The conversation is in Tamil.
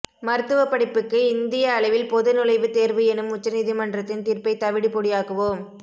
மருத்துவப் படிப்புக்கு இந்திய அளவில் பொது நுழைவுத் தேர்வு எனும் உச்சநீதிமன்றத்தின் தீர்ப்பைத் தவிடு பொடியாக்குவோம்